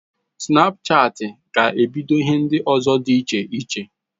Snapchatị ga ebido ihe ndi ozo di iche iche